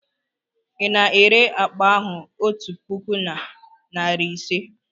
Ị na-ere akpa ahụ otu puku na narị ise?